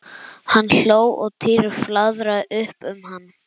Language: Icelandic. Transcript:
Hann hló og Týri flaðraði upp um hann.